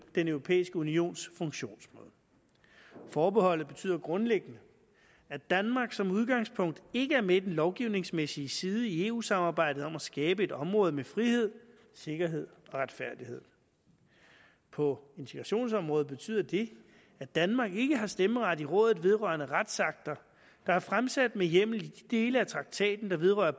den europæiske unions funktionsmåde forbeholdet betyder grundlæggende at danmark som udgangspunkt ikke er med i den lovgivningsmæssige side i eu samarbejdet om at skabe et område med frihed sikkerhed og retfærdighed på integrationsområdet betyder det at danmark ikke har stemmeret i rådet vedrørende retsakter der er fremsat med hjemmel i de dele af traktaten der vedrører